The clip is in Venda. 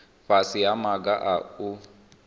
fhasi ha maga a u